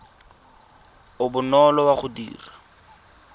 o bonolo wa go dira